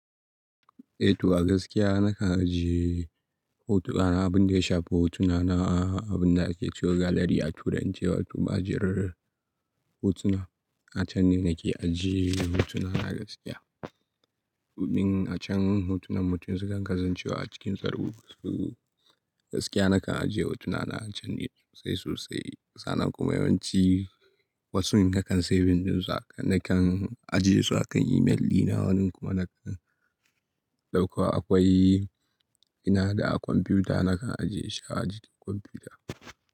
Eh to a gaskiya nakan ajiye hotuna na abin da ya shafi hotuna na abin da ake cewa gallery a turance wato ma'ajiyar hotuna. A can ne nake ajiye hotuna na gaskiya. Domin a can hotunan mutum sukan kasance wa a cikin tsaro. Gaskiya nakan ajiye hotuna na a can ne sosai sosai. Sannan kuma yawanci wasun nakan saving ɗinsu nakan ajiye su a kan email dina. Wani kuma nakan dauko akwai ina da a kwamfuta nakan ajiye shi a ajin kwamfuta.